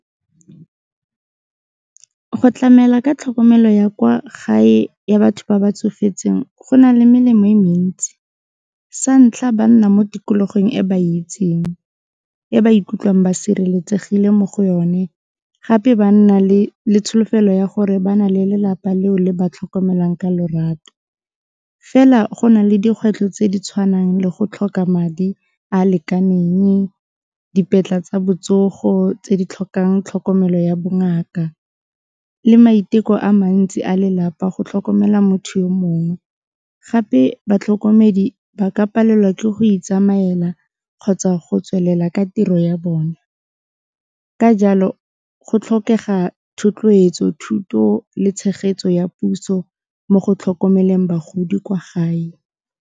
Go tlamela ka tlhokomelo ya kwa gae ya batho ba ba tsofetseng go na le melemo e mentsi, sa ntlha ba nna mo tikologong e ba e itseng, e ba ikutlwang ba sireletsegile mo go yone gape ba nna le tsholofelo ya gore ba na le lelapa leo le ba tlhokomelang ka lorato, fela go na le dikgwetlho tse di tshwanang le go tlhoka madi a a lekaneng, tsa botsogo tse di tlhokang tlhokomelo ya bongaka le maiteko a mantsi a lelapa go tlhokomela motho yo mongwe, gape batlhokomedi ba ka palelwa ke go itsamaela kgotsa go tswelela ka tiro ya bona. Ka jalo go tlhokega thotloetso, thuto le tshegetso ya puso mo go tlhokomeleng bagodi kwa gae.